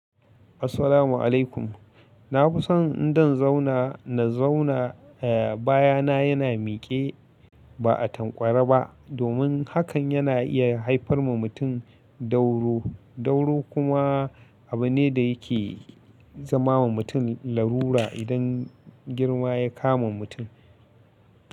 Assalamu alaikum. Na fi son in dan zauna na zauna, eh, baya na yana mike ba a tanƙware ba domin hakan yana iya haifar ma mutum dauro. Dauro kuma abu ne da yake zama wa mutum larura idan girma ya kama mutum.